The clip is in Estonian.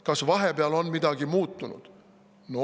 " Kas vahepeal on midagi muutunud?